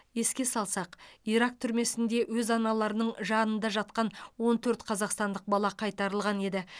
еске салсақ ирак түрмесінде өз аналарының жанында жатқан он төрт қазақстандық бала қайтарылған еді